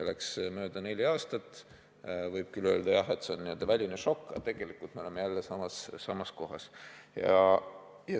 Läks mööda neli aastat ja tegelikult oleme me jälle samas kohas tagasi.